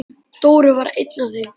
Dóri var einn af þeim.